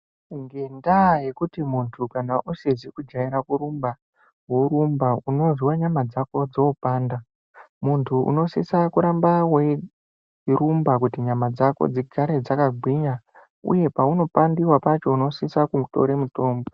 Ngendaa yekuti muntu usizi kujaira kurumba, worumba, unozwa nyama dzako dzoopanda. Muntu unosisa kuramba weirumba kuti nyama dzako dzigare dzakagwinya uye paunopandiwa pacho unosisa kutore mutombo.